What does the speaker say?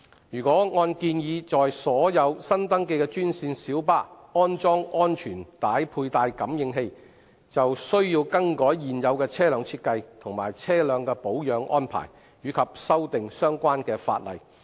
如按建議在所有新登記的專線小巴安裝安全帶佩戴感應器，便須更改現有車輛設計及車輛的保養安排，以及修訂相關法例。